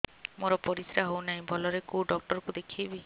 ମୋର ପରିଶ୍ରା ହଉନାହିଁ ଭଲରେ କୋଉ ଡକ୍ଟର କୁ ଦେଖେଇବି